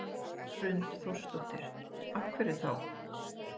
Hrund Þórsdóttir: Af hverju þá?